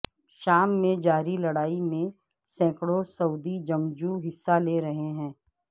شام میں جاری لڑائی میں سینکڑوں سعودی جنگجو حصہ لے رہے ہیں